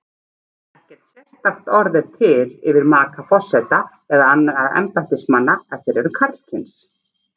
Ekkert sérstakt orð er til yfir maka forseta eða annarra embættismanna ef þeir eru karlkyns.